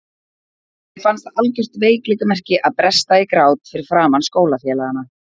Mér fannst það algjört veikleikamerki að bresta í grát fyrir framan skólafélagana.